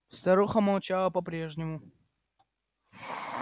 старуха молчала по-прежнему